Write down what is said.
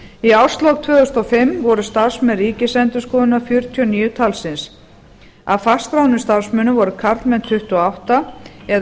í árslok tvö þúsund og fimm voru starfsmenn ríkisendurskoðunar fjörutíu og níu talsins af fastskráðum starfsmönnum voru karlmenn tuttugu og átta eða